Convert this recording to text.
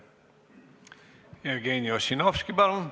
Jevgeni Ossinovski, palun!